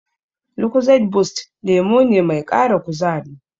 Lucozade boost lemo ne mai ƙara kuzari.